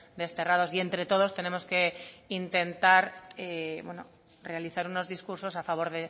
desterrados y entre todos tenemos que intentar realizar unos discursos a favor